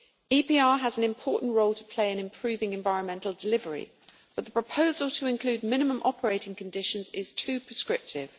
EPR has an important role to play in improving environmental delivery, but the proposal to include minimum operating conditions is too prescriptive.